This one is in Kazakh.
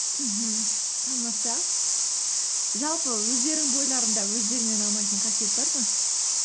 мхм тамаша жалпы өздерің бойларында өздеріңе ұнамайтын қасиет бар ма